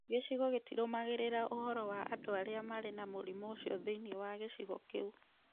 Gĩcigo gĩtirũmagĩrĩra ũhoro wa andũ arĩa marĩ na mũrimũ ũcio thĩinĩ wa gĩcigo kĩu.